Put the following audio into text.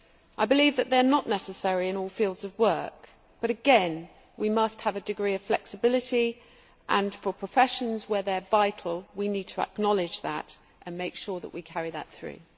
I believe that they are not necessary in all fields of work, but again we must have a decree of flexibility and, for professions where they are vital, we need to acknowledge that and make sure that we carry that through.